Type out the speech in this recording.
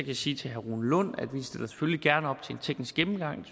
jeg sige til herre rune lund at vi selvfølgelig gerne stiller op til en teknisk gennemgang